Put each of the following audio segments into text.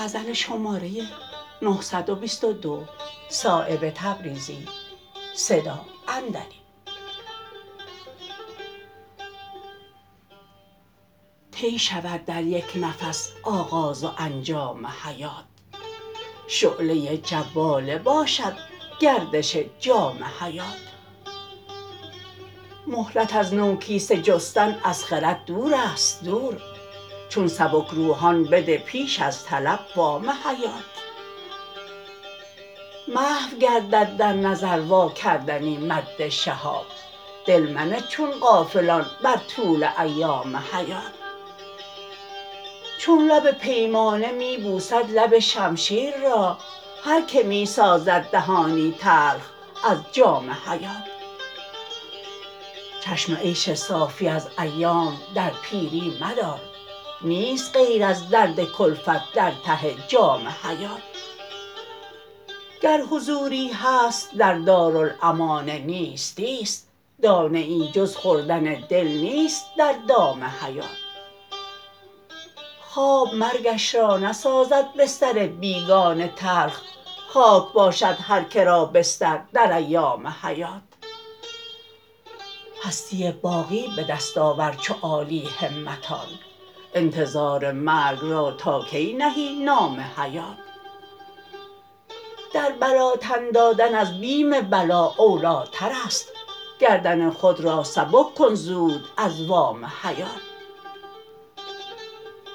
طی شود در یک نفس آغاز و انجام حیات شعله جواله باشد گردش جام حیات مهلت از نوکیسه جستن از خرد دورست دور چون سبکروحان بده پیش از طلب وام حیات محو گردد در نظر واکردنی مد شهاب دل منه چون غافلان بر طول ایام حیات چون لب پیمانه می بوسد لب شمشیر را هر که می سازد دهانی تلخ از جام حیات چشم عیش صافی از ایام در پیری مدار نیست غیر از درد کلفت در ته جام حیات گر حضوری هست در دارالامان نیستی است دانه ای جز خوردن دل نیست در دام حیات خواب مرگش را نسازد بستر بیگانه تلخ خاک باشد هر که را بستر در ایام حیات هستی باقی به دست آور چو عالی همتان انتظار مرگ را تا کی نهی نام حیات در بلا تن دادن از بیم بلا اولی ترست گردن خود را سبک کن زود از وام حیات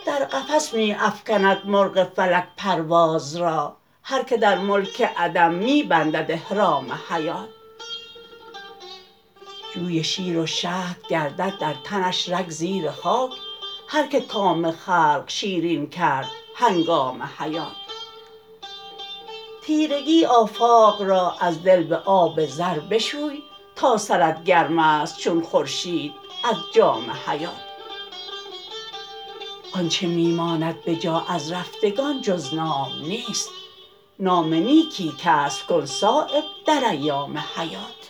در قفس می افکند مرغ فلک پرواز را هر که در ملک عدم می بندد احرام حیات جوی شیر و شهد گردد در تنش رگ زیر خاک هر که کام خلق شیرین کرد هنگام حیات تیرگی آفاق را از دل به آب زر بشوی تا سرت گرم است چون خورشید از جام حیات آنچه می ماند بجا از رفتگان جز نام نیست نام نیکی کسب کن صایب در ایام حیات